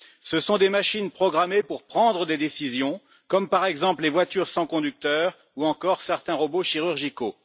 Ce sont des machines programmées pour prendre des décisions, comme, par exemple, les voitures sans conducteur ou encore certains robots chirurgicaux.